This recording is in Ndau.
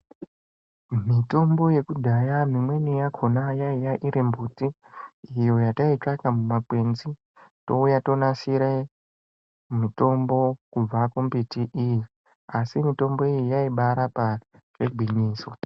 Mitombo yekudhaya mimweni yakona yaiya mimbuti iyo yataitsvaka mumakwenzi touya tonasire mutombo kubva kumbiti iyi asi mutombo iyi yaibarapa zvegwinyiso.